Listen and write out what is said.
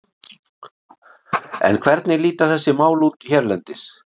En hvernig líta þessi mál út hérlendis?